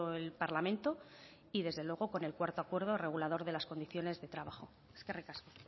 el parlamento y desde luego con el cuarto acuerdo regulador de las condiciones de trabajo eskerrik asko